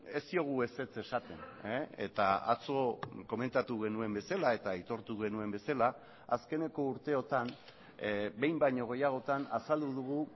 ez diogu ezetz esaten eta atzo komentatu genuen bezala eta aitortu genuen bezala azkeneko urteotan behin baino gehiagotan azaldu dugu